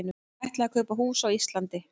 Ætlaði að kaupa hús á Íslandi